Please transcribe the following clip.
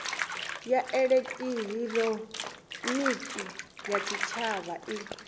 ya elekihironiki ya tshitshavha i